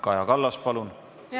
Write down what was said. Kaja Kallas, palun!